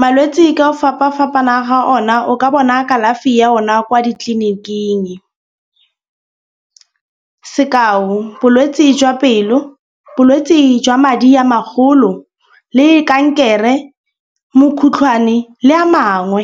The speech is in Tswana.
Malwetsi ka ho fapana fapana ga ona o ka bona kalafi ya ona kwa ditleliniking. Sekao bolwetsi jwa pelo, bolwetsi jwa madi a magolo le kankere, mokhutlwane le a mangwe.